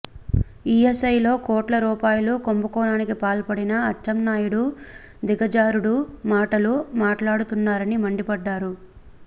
ఈఎస్ఐలో కోట్ల రూపాయల కుంభకోణానికి పాల్పడిన అచ్చెన్నాయుడు దిగజారుడు మాటలు మాట్లాడుతున్నారని మండిపడ్డారు